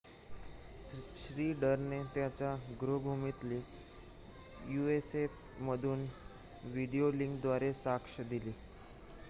श्नीडरने त्याच्या गृह्भूमीतील युएसएएफ मधून व्हिडीओ लिंक द्वारा साक्ष दिली